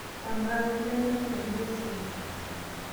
Amaa, kainyoo namba inono esimu?